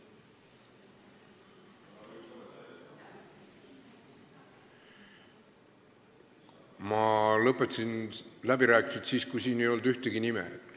Ma lõpetasin läbirääkimised siis, kui siin ei olnud ühtegi nime.